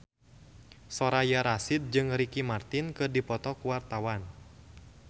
Soraya Rasyid jeung Ricky Martin keur dipoto ku wartawan